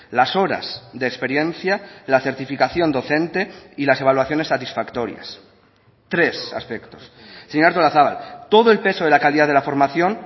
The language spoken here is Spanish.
las horas de experiencia la certificación docente y las evaluaciones satisfactorias tres aspectos señora artolazabal todo el peso de la calidad de la formación